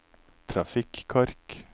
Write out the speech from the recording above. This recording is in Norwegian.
trafikkork